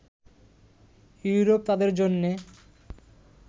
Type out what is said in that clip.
Europe তাদের জন্যে